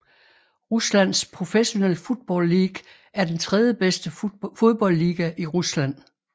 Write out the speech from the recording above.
Ruslands Professional Football League er den tredje bedste fodboldliga i Rusland